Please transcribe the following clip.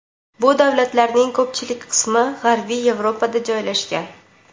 Bu davlatlarning ko‘pchilik qismi g‘arbiy Yevropada joylashgan.